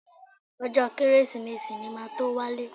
Ọjọ́ Kérésìmesì ni màá tó wálé